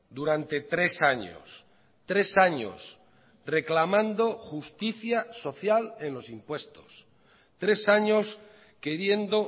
durante tres años tres años reclamando justicia social en los impuestos tres años queriendo